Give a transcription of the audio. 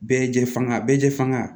Bɛɛ jɛ fanga bɛɛ jɛ faga